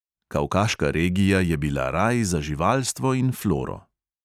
Kavkaška regija je bila raj za živalstvo in floro.